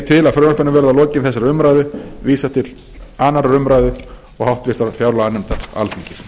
til að frumvarpinu verði að lokinni þessari umræðu vísað til annarrar umræðu og háttvirtrar fjárlaganefndar alþingis